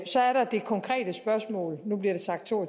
så er der det konkrete spørgsmål nu bliver der sagt to